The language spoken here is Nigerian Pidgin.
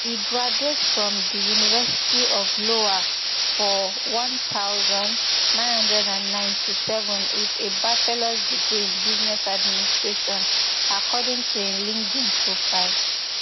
e graduate from di university of iowa for one thousand, nine hundred and ninety-seven with a bachelors degree in business administration according to im linkedin profile